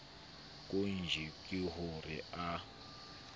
qojwa ke ho re a